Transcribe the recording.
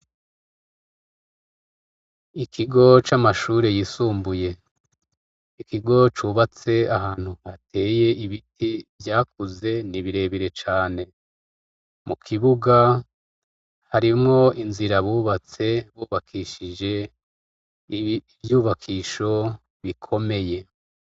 Ikigo camashure yisumbuye ikigo cubatse ahantu hateye ibiti vyakuze nibindi birebire cane mukibuga harimwo inzira bubatse bubakishije ivyubakisho bikomeye